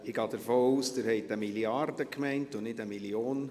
Ich gehe davon aus, dass Sie 1 Mrd. und nicht 1 Mio. Franken gemeint haben.